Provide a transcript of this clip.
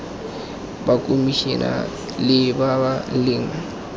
ba khomešiale ba ba leng